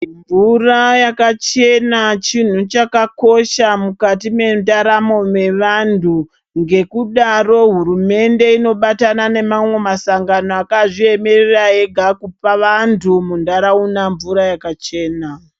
Mvura yakachena chinhu chakakosha mukati mendaramo yevantu ngekudaro hurumende inobatana nemamwe masangano akazviemera ega kupa antu mundaraunda mvura yakachena.